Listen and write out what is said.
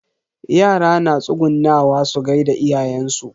Yara na tsugunnawa su gaida iyayen su.